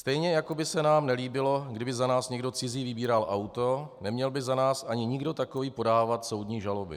Stejně jako by se nám nelíbilo, kdyby za nás někdo cizí vybíral auto, neměl by za nás ani nikdo takový podávat soudní žaloby.